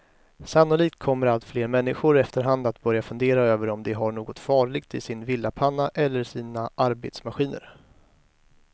Sannolikt kommer allt fler människor efterhand att börja fundera över om de har något farligt i sin villapanna eller sina arbetsmaskiner.